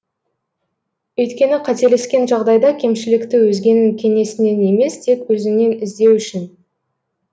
өйткені қателескен жағдайда кемшілікті өзгенің кеңесінен емес тек өзіңнен іздеу үшін